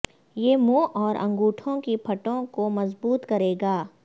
یہ منہ اور انگوٹھوں کی پٹھوں کو مضبوط کرے گا